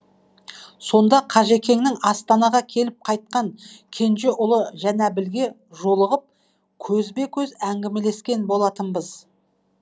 сонда қажекеңнің астанаға келіп қайтқан кенже ұлы жанәбілге жолығып көзбе көз әңгімелескен болатынбыз